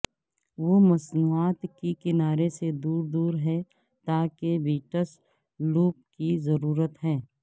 وہ مصنوعات کے کنارے سے دور دور ہیں تاکہ بیٹس لوپ کی ضرورت ہے